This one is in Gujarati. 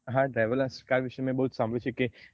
હા driverless car વિષે બઉ સાંભળ્યું છે